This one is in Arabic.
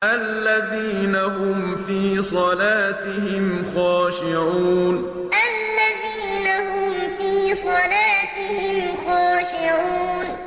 الَّذِينَ هُمْ فِي صَلَاتِهِمْ خَاشِعُونَ الَّذِينَ هُمْ فِي صَلَاتِهِمْ خَاشِعُونَ